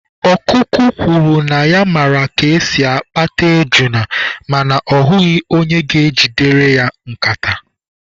Okụkụ kwuru na ya mara ka esi akpata ejuna mana ọ hụghị onye ga-ejidere ya nkata.